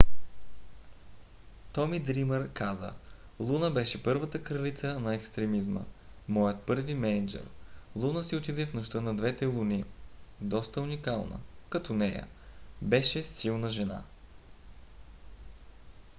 томи дриймър каза: луна беше първата кралица на екстремизма. моят първи мениджър. луна си отиде в нощта на двете луни. доста уникална като нея. беше силна жена.